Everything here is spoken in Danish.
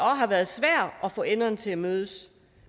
har været svært at få enderne til at mødes